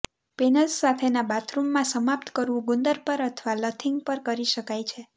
panels સાથેના બાથરૂમમાં સમાપ્ત કરવું ગુંદર પર અથવા લથિંગ પર કરી શકાય છે